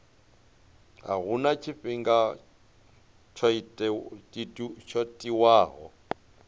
a huna tshifhinga tsho tiwaho